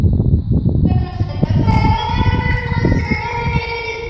Hvenær seinna?